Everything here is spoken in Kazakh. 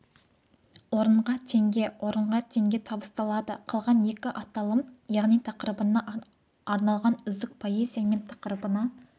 орынға теңге орынға теңге табысталады қалған екі аталым яғни тақырыбына арналған үздік поэзия мен тақырыбына